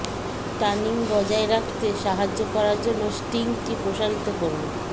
টানিং বজায় রাখতে সাহায্য করার জন্য স্ট্রিংটি প্রসারিত করুন